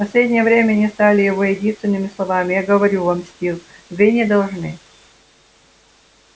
в последнее время они стали его единственными словами я говорю вам стив вы не должны